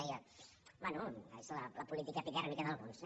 deia bé és la política epidèrmica d’alguns